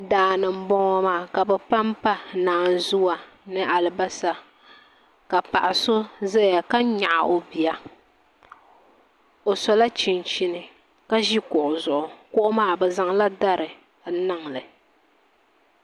Daani n boŋo maa ka bi panpa naanzuwa ni alibarisa ka paɣa so ʒɛya ka nyaɣi o bia o sola chinhini ka ʒi kuɣu zuɣu kuɣu maa bi zaŋla dari n niŋli